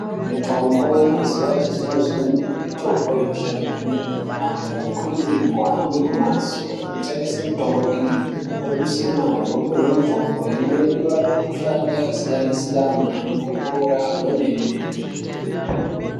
Mitombo yemazuva echizvino zvino mitombo inoshanda kwemene antu anokurudzirwe kuhamba kumbatso inotengese mitombo iyi oduse mare opuhwe mitombo imweni inorape mikuhlani yakasiyana siyana antu opora kwemene.